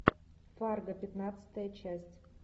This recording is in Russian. фарго пятнадцатая часть